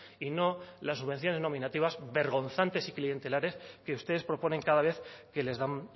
y no las subvenciones nominativas vergonzantes y clientelares que ustedes proponen cada vez que les dan